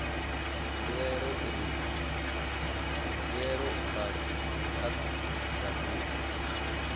mbuelo u bva kha datumu